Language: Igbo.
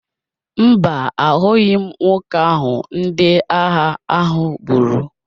Mba, ahụghị m nwoke ahụ ndị agha ahụ gburu.